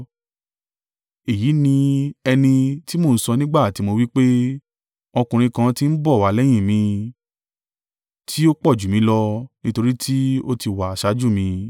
Èyí ni ẹni tí mo ń sọ nígbà tí mo wí pé, ‘Ọkùnrin kan tí ń bọ̀ wá lẹ́yìn mi, tí ó pọ̀jù mí lọ, nítorí tí ó ti wà ṣáájú mi.’